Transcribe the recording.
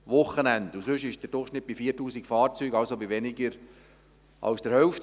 Sonst liegt der Durchschnitt bei 4000 Fahrzeugen, also bei weniger als der Hälfte.